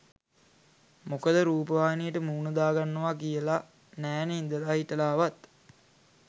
මොකද රූපවාහිනියට මූණ දාගන්නවා කියලා නෑනෙ ඉඳලා හිටලාවත්.